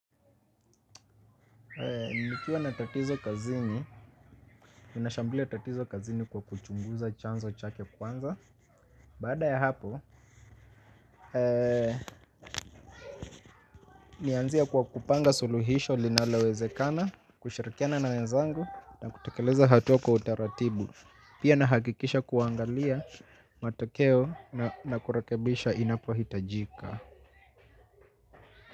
Nikiwa na tatizo kazini, ninashambulia tatizo kazini kwa kuchunguza chanzo chake kwanza. Baada ya hapo, nianzie kwa kupanga suluhisho linalowezekana, kushirikiana na wenzangu na kutekeleza hatua kwa utaratibu. Pia nahakikisha kuangalia matokeo na kurekebisha inapohitajika.